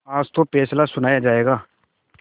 आज तो फैसला सुनाया जायगा